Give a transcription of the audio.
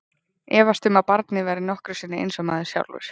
Efast um að barnið verði nokkru sinni eins og maður sjálfur.